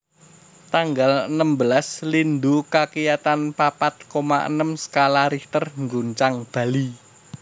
Tanggal enem belas Lindhu kakiyatan papat koma enem skala Richter ngguncang Bali